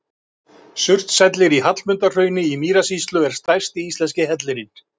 Surtshellir í Hallmundarhrauni í Mýrasýslu er stærsti íslenski hellirinn.